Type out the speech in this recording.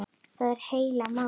Það er heila málið!